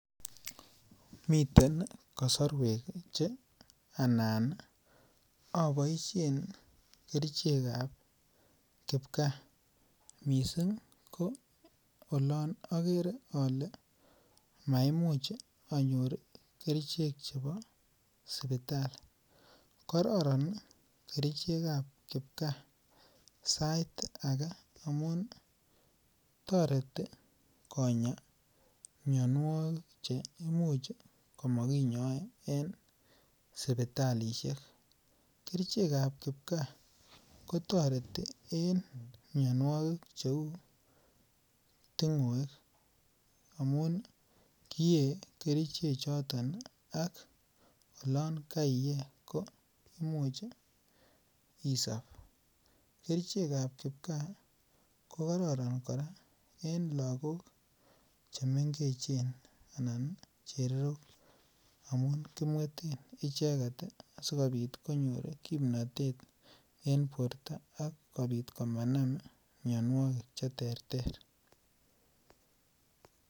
Miten kosorwek che anan oboishen kerichekab kipkaa missing' ko olon okere ole maimuch onyot kerichek chebo sipitali, kororon kerichekab kipkaa sait ake amun toreti konyaa mionuokik cheimuch komokinyoe en sipitalishek, kerichekab kipkaa kotoreti en mionuokik cheu tingoek amun kiyee kerichechoton olon kaiye koimuch isop kerichkab kipkaa kokororon koraa en lagok chemengech anan chererok amun kimweten icheket asikobit konyor kimnotet en borto ak kobit komanam mionuokik cheterter.